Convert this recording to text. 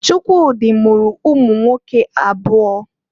Chukwudi mụrụ ụmụnwoke abụọ.